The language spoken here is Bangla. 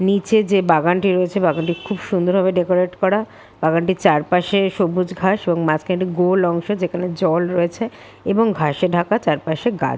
নিচে যে বাগানটি রয়েছে বাগানটি খুব সুন্দর ভাবে ডেকোরেট করা বাগানটির চারপাশে সবুজ ঘাস ও মাঝ খানে একটি গোল অংশ যেখানে জল রয়েছে এবং ঘাসে ঢাকা চারপাশে ঘাস।